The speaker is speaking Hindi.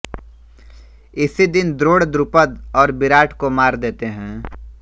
इसी दिन द्रोण द्रुपद और विराट को मार देते हैं